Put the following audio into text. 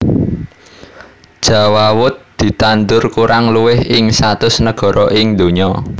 Jawawut ditandur kurang luwih ing satus negara ing donya